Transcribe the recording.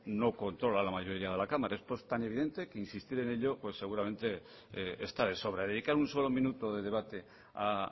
no controla la mayoría de la cámara esto es tan evidentemente que insistir en ello pues seguramente está de sobra dedicar un solo minuto de debate a